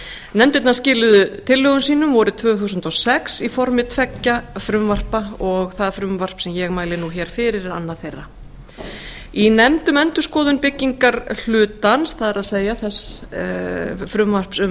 nefndirnar skiluðu tillögum sínum vorið tvö þúsund og sex í formi tveggja frumvarpa og það frumvarp sem ég mæli nú hér fyrir er annað þeirra í nefnd um endurskoðun um byggingarhlutans það er þess frumvarp um